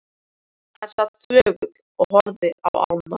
Hann sat þögull og horfði á ána.